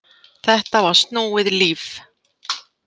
Þetta var snúið líf.